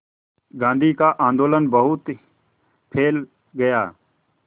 गांधी का आंदोलन बहुत फैल गया